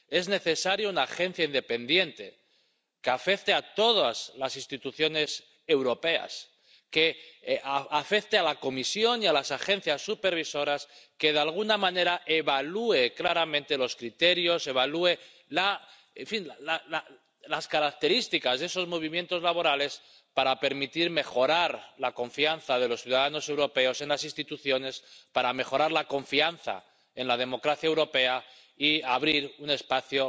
Es necesaria una agencia independiente, con competencia para todas las instituciones europeas, la Comisión y las agencias supervisoras, que, de alguna manera, evalúe claramente los criterios, evalúe, en fin, las características de esos movimientos laborales, para permitir mejorar la confianza de los ciudadanos europeos en las instituciones, para mejorar la confianza en la democracia europea y abrir un espacio,